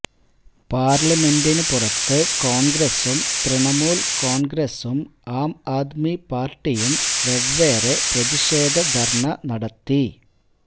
പാർലമെൻറിനു പുറത്ത് കോൺഗ്രസും തൃണമൂൽ കോൺഗ്രസും ആംആദ്മി പാർട്ടിയും വെവ്വേറെ പ്രതിഷേധ ധർണ്ണ നടത്തി